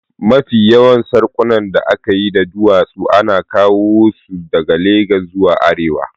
Mafi yawan sarƙunan da aka yi da duwatsu ana kawo su ne daga Legas zuwa arewa